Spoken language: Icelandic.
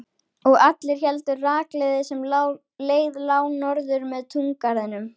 Og allir héldu rakleiðis sem leið lá norður með túngarðinum.